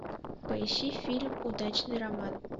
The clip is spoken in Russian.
поищи фильм удачный роман